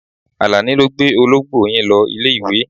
Àlàní ló gbé olóńgbò yín lọ ilé-ìwé.